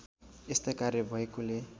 यस्ता कार्य भएकोले